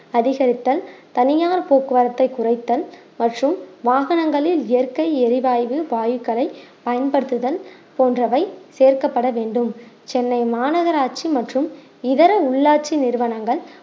அதிகரித்தல் தனியார் போக்குவரத்தை குறைத்தல் மற்றும் வாகனங்களில் இயற்கை எரிவாய்வு வாயுக்கலை பயன்படுத்துதல் போன்றவை சேர்க்கப்பட வேண்டும் சென்னை மாநகராட்சி மற்றும் இதர உள்ளாட்சி நிறுவனங்கள்